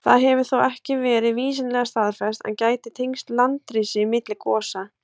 Það hefur þó ekki verið vísindalega staðfest, en gæti tengst landrisi milli gosa.